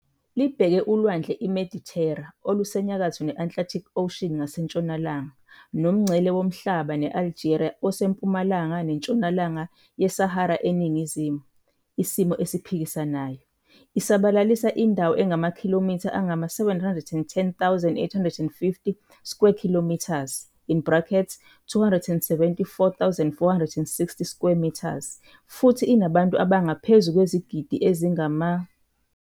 Libheke uLwandle iMedithera olusenyakatho ne-Atlantic Ocean ngasentshonalanga, nomngcele womhlaba ne-Algeria osempumalanga neNtshonalanga yeSahara eningizimu, isimo esiphikisanayo. I isabalalisa indawo engamakhilomitha angama-710,850 km2, in brackets 274,460 sq mi, futhi inabantu abangaphezu kwezigidi ezingama